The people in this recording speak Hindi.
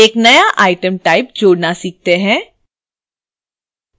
एक नया item type जोड़ना सीखते हैं